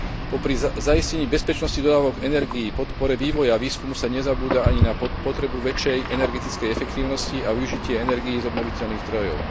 Popri zaistení bezpečnosti dodávok energií, podpore vývoja a výskumu sa nezabúda ani na potrebu väčšej energetickej efektívnosti a využitie energií z obnoviteľných zdrojov.